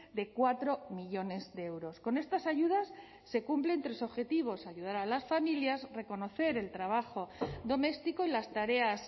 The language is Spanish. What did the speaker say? de cuatro millónes de euros con estas ayudas se cumplen tres objetivos ayudar a las familias reconocer el trabajo doméstico y las tareas